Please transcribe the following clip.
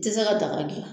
Tɛ se ka daga gilan